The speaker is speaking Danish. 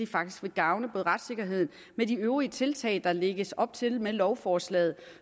faktisk vil gavne retssikkerheden med de øvrige tiltag der lægges op til med lovforslaget